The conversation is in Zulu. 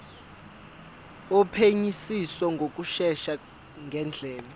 wophenyisiso ngokushesha ngendlela